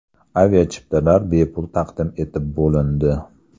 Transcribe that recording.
Aviachiptalar bepul taqdim etib bo‘lindi.